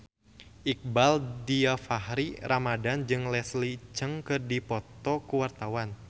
Iqbaal Dhiafakhri Ramadhan jeung Leslie Cheung keur dipoto ku wartawan